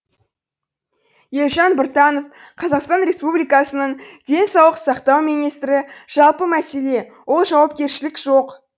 елжан біртанов қазақстан республикасының денсаулық сақтау министрі жалпы мәселе ол жауапкершілік жоқ